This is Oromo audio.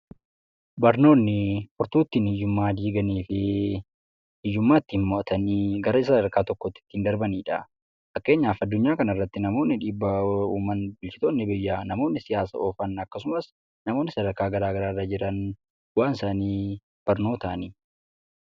Barnoonni furtuu ittiin hiyyummaa diiganii fi hiyyummaa ittiin moo'atanii gara sadarkaa tokkootti ittiin darbanidha. Fakkeenyaaf addunyaa kanarratti namoonni dhiibbaa uuman, bulchitoonni biyyaa, namoonni siyaasa oofan akkasumas namoonni sadarkaa garaa garaa irra jiran bu'aan isaanii barnootaani.